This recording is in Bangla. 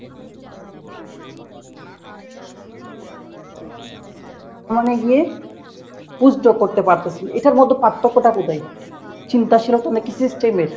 মানে গিয়ে post doc করতে পারতেছেন এটার মধ্যে পার্থক্যটা কোথায় চিন্তাশীলতা নাকি system এর?